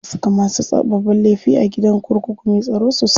Ana saka masu babban laifi a gidan kurkuku me tsaro sosai.